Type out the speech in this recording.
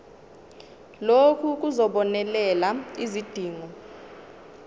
lokhu kuzobonelela izidingo